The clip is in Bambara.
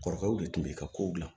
Kɔrɔkɛw de tun bɛ ka kow gilan